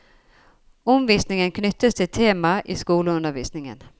Omvisningen knyttes til tema i skoleundervisningen.